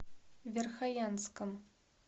верхоянском